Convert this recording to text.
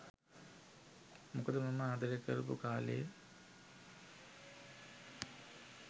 මොකද මම ආදරය කරපු කා‍ලේ